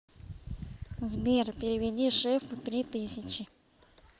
сбер переведи шефу три тысячи